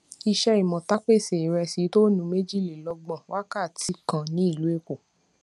ìṣẹ imota pèsè iresi toonu méjìlélógbòn wákàtí kan ní ìlú èkó